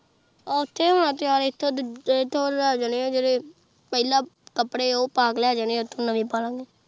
ਹਾਂ ਓਥੇ ਹੀ ਹੋਣਾ ਤਯਾਰ ਐਥੇ ਲੈ ਜਾਣਾ ਜੀਰੇ ਫਲਾ ਜੋ ਕਪੜੇ ਓਹ੍ਹ ਪਾ ਜਾਣਾ ਓਥੇ ਨਵੇ ਪਾ ਲਵਾਂਗੇ